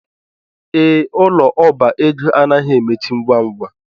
Ee, ụlọ ọbá ego anaghi emechi ngwa ngwa